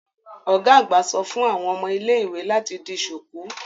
Ọ́ga àgbà só fun àwọn ómo ile-iwe lati di ṣuku